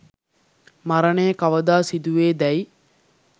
මරණය කවදා සිදුවේ දැයි